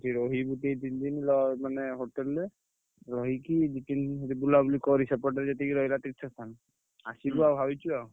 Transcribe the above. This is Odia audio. ସେଠି ରହିବୁ ଟିକେ ତିନି ଦିନ୍ ଲ ମାନେ hotel ରେ। ରହିକି ଦି ତିନି ଦିନ୍ ସେଠି ବୁଲାବୁଲି କରି ସେପଟେ ଯେତେ ରହିଲା ତୀର୍ଥସ୍ଥାନ ଆସିବୁ ଆଉ ଭାବିଛୁ ଆଉ।